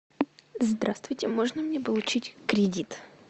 здравствуйте можно мне получить кредит